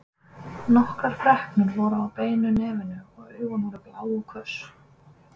Nokkrar freknur voru á beinu nefinu og augun voru blá og hvöss.